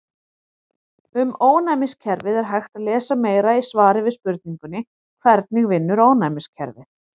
Um ónæmiskerfið er hægt að lesa meira í svari við spurningunni Hvernig vinnur ónæmiskerfið?